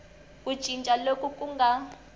ku cinca loku ku nga